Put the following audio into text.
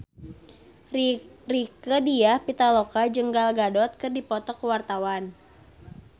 Rieke Diah Pitaloka jeung Gal Gadot keur dipoto ku wartawan